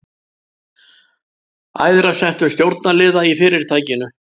æðra settum stjórnaraðila í fyrirtækinu.